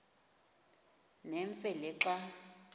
nemfe le xa